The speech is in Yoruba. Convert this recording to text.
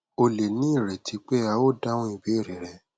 o lè ní ìrètí pé a óò dáhùn ìbéèrè rẹ